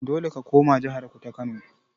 Dole ka koma jahar ku ta kano.